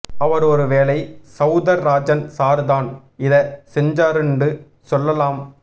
அவர் ஒரு வேலை சௌதர் ராஜன் சார் தான் இத சென்ஜாருண்டு சொல்லலாம்